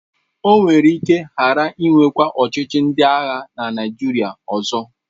O nwere ike ghara inwekwa ọchịchị ndị agha na Naịjirịa ọzọ.